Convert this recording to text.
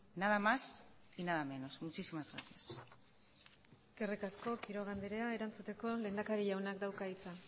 nada más y nada menos muchísimas gracias eskerrik asko quiroga anderea erantzuteko lehendakari jaunak dauka hitza